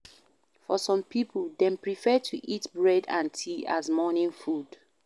For some pipo, dem prefer to eat bread and tea as morning food